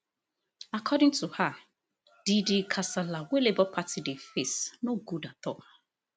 according to her di di kasala wey labour party dey face no good at all